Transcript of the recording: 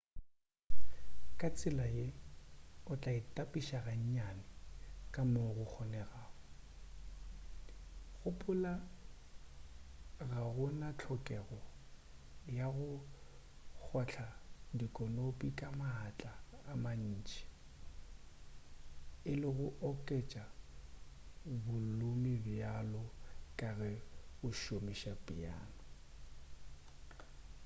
ka tsela ye o tla itapiša ga nnyane ka moo go kgonegago gopola ga go na hlokego ya go kgotla dikonopi ka maatla a mantši e le go oketša bolumu bjalo ka ge o šomiša piano